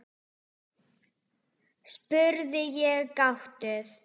spurði ég gáttuð.